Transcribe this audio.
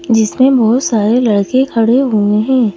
जिसमें बहुत सारे लड़के खड़े हुए है।